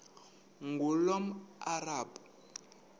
ngulomarabu